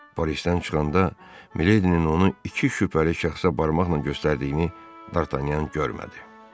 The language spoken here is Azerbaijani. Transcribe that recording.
Qapıdan çıxanda Mileydinin onu iki şübhəli şəxsə barmaqla göstərdiyini Dartanyan görmədi.